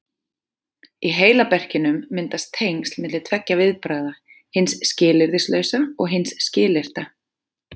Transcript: Í heilaberkinum myndast tengsl milli tveggja viðbragða, hins skilyrðislausa og hins skilyrta.